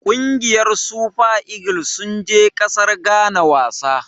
Ƙungiyar Super eagle sun je ƙasar Ghana wasa.